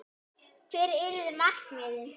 Hver eru markmið þín?